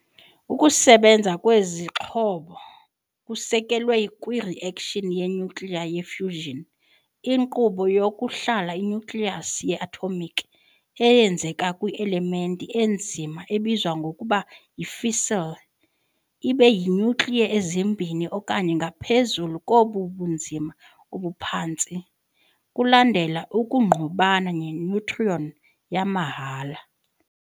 Ukusebenza kwezi zixhobo kusekelwe kwi-reaction ye-nyukliya ye-fission, inkqubo yokwahlula i-nucleus ye-atomic, eyenzeka kwi- elementi enzima ebizwa ngokuba yi-fissile, ibe yi-nuclei ezimbini okanye ngaphezulu zobunzima obuphantsi, kulandela ukungqubana ne- neutron yamahhala.